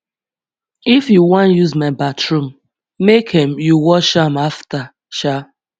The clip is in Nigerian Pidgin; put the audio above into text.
if you wan use my bathroom make um you wash am afta um